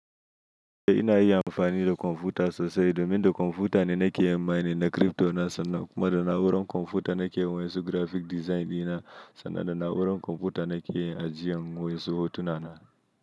Eh ina iya amfani da kwamfuta sosai, domin da kwamfuta ne nake yin mining na crypto na, sannan kuma da na'urar kwamfuta nake yin waƴansu grafik design ɗina, sannan da na'urar kwamfuta nake yin ajjiyan wa'ensu hotuna na.